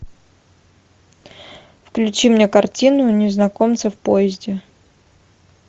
включи мне картину незнакомцы в поезде